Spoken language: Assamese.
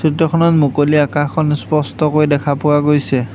চিত্ৰখনত মুকলি আকাশখন স্পষ্টকৈ দেখা পোৱা গৈছে।